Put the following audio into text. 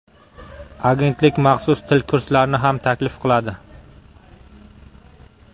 Agentlik maxsus til kurslarini ham taklif qiladi.